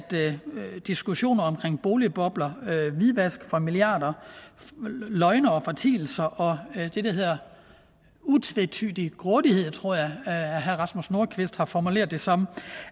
diskussioner omkring boligbobler hvidvask for milliarder løgne og fortielser og det der hedder utvetydigt grådighed tror jeg herre rasmus nordqvist har formuleret det som